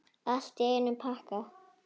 Allt í einum pakka!